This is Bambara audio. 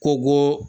Kogo